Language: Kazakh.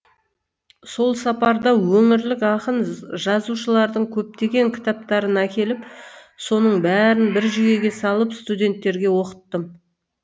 сол сапарда өңірлік ақын жазушылардың көптеген кітаптарын әкеліп соның бәрін бір жүйеге салып студенттерге оқыттым